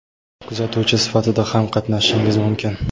kuzatuvchi sifatida ham qatnashishingiz mumkin.